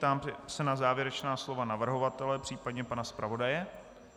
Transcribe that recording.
Ptám se na závěrečná slova navrhovatele, případně pana zpravodaje.